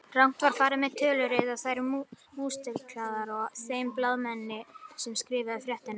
Rangt var farið með tölur eða þær mistúlkaðar af þeim blaðamanni sem skrifaði fréttina.